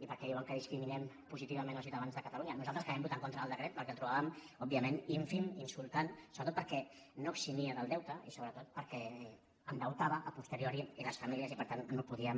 i per què diuen que discriminem positivament els ciutadans de catalunya nosaltres que vam votar en contra del decret perquè el trobàvem òbviament ínfim i insultant sobretot perquè no eximia del deute i sobretot perquè endeutava a posteriori les famílies i per tant no el podíem